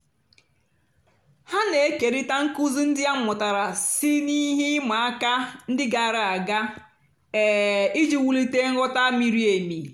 ha na-ékérị̀ta nkụ́zí ndí a mụ́tàra sí ná ihe ị̀ma àka ndí gààrà àga um ijì wùlìtè nghọ́tá mìrí èmì.